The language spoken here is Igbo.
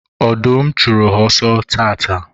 ọdụm chụrụ ha ọsọ taata